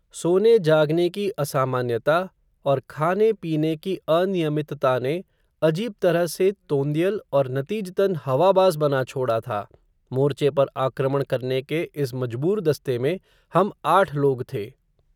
सोने जागने की असामान्यता, और खाने पीने की अनियमितता ने, अजीब तरह से, तोंदियल, और नती जतन, हवाबाज़ बना छोड़ा था, मोर्चे पर आक्रमण करने के इस मजबूर दस्ते में, हम आठ लोग थे